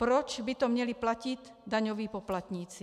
Proč by to měli platit daňoví poplatníci?